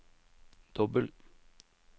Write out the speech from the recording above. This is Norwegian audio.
dobbel